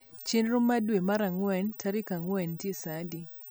chenro ma dwe mar angwe tarik angwen nitie saadi